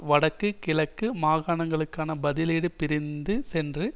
வடக்கு கிழக்கு மாகாணங்களுக்கான பதிலீடு பிரிந்து சென்று